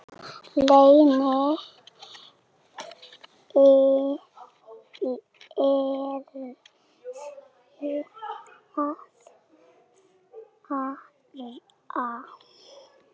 Lena yrði að fara.